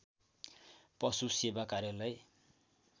पशु सेवा कार्यालय